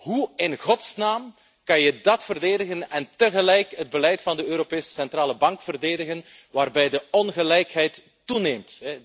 Hoe in godsnaam kan je dat verdedigen en tegelijkertijd het beleid van de Europese Centrale Bank verdedigen waarbij de ongelijkheid toeneemt?